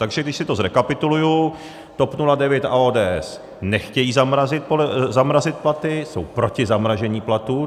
Takže když si to zrekapituluji, TOP 09 a ODS nechtějí zamrazit platy, jsou proti zamražení platů.